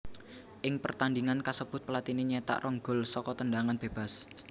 Ing pertandhingan kasebut Platini nyétak rong gol saka tendhangan bébas